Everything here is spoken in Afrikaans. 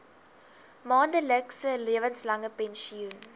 maandelikse lewenslange pensioen